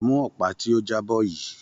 Mú ọ̀pá tí ó jábọ́ yìí.